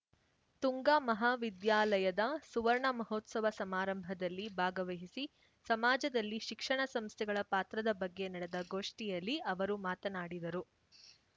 ತುಂಗಾ ಮಹಾವಿದ್ಯಾಲಯದ ಸುವರ್ಣ ಮಹೋತ್ಸವ ಸಮಾರಂಭದಲ್ಲಿ ಭಾಗವಹಿಸಿ ಸಮಾಜದಲ್ಲಿ ಶಿಕ್ಷಣ ಸಂಸ್ಥೆಗಳ ಪಾತ್ರದ ಬಗ್ಗೆ ನಡೆದ ಗೋಷ್ಠಿಯಲ್ಲಿ ಅವರು ಮಾತನಾಡಿದರು